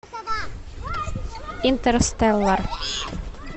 интерстеллар